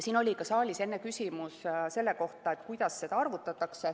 Siin oli ka saalis enne küsimus selle kohta, kuidas seda arvutatakse.